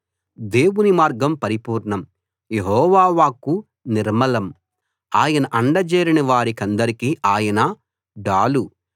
దేవుని మార్గం పరిపూర్ణం యెహోవా వాక్కు నిర్మలం ఆయన అండజేరిన వారికందరికి ఆయన డాలు